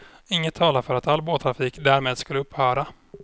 Inget talar för att all båttrafik därmed skulle upphöra.